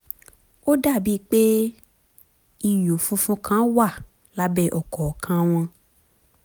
ó dàbíi pé ìyún funfun kan wà lábẹ́ ọ̀kọ̀ọ̀kan wọn